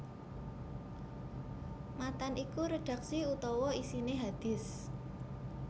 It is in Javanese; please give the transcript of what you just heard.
Matan iku redhaksi utawa isine hadits